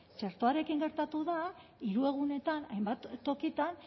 txertoarekin gertatu da hiru egunetan hainbat tokietan